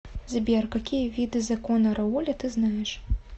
сбер какие виды законы рауля ты знаешь